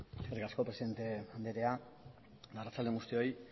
eskerrik asko presidente andrea arratsalde on guztioi